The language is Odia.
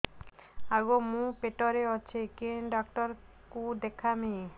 ଆଗୋ ମୁଁ ପେଟରେ ଅଛେ କେନ୍ ଡାକ୍ତର କୁ ଦେଖାମି